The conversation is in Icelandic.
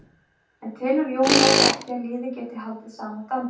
En telur Jón Óli ekki að liðið geti haldið sama dampi?